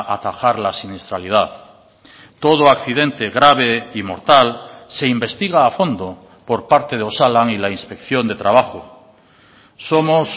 atajar la siniestralidad todo accidente grave y mortal se investiga a fondo por parte de osalan y la inspección de trabajo somos